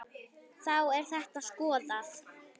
Þá er þetta skoðað.